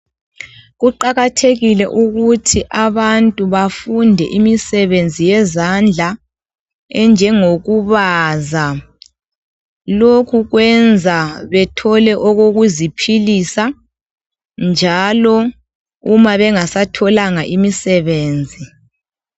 Kuqakathekile ukuthi abantu bafunde imisebenzi yezandla enjengokubaza. Lokhu kwenza bethole okokuziphilisa. Njalo uma bengasatholanga imisebenzi.